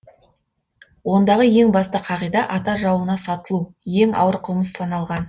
ондағы ең басты қағида ата жауына сатылу ең ауыр қылмыс саналған